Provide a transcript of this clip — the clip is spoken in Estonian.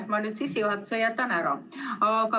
Ma jätan nüüd sissejuhatuse ära.